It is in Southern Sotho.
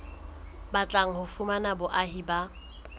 batlang ho fumana boahi ba